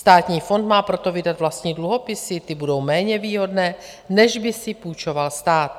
Státní fond má proto vydat vlastní dluhopisy, ty budou méně výhodné, než by si půjčoval stát.